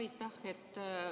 Aitäh!